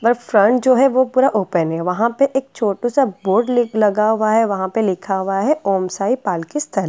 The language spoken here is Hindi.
हमारा फ्रन्ट जो है वो पूरा ओपन है वहाँ पे एक छोटू सा बोर्ड ली लगा हुआ है वहाँ पे लिखा हुआ है ॐ सी पालकी स्थल ।